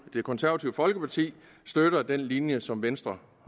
det konservative folkeparti støtter den linje som venstre